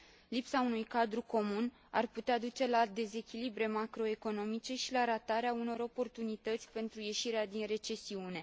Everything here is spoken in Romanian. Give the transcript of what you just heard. Lipsa unui cadru comun ar putea duce la dezechilibre macroeconomice și la ratarea unor oportunități pentru ieșirea din recesiune.